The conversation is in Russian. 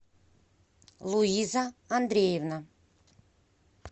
луиза андреевна